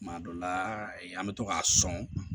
Tuma dɔ la an bɛ to k'a sɔn